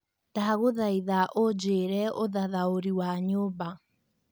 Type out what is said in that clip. ndagũthaitha ũjĩire ũthathaũrĩ wa nyũmba